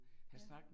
Ja